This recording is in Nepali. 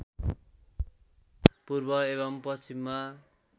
पूर्व एवं पश्चिममा